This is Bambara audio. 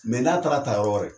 Mɛ n'a taara ta yɔrɔ wɛrɛ